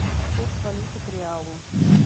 курс валюты к реалу